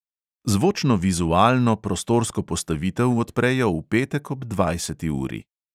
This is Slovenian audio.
Zvočno-vizualno prostorsko postavitev odprejo v petek ob dvajseti uri.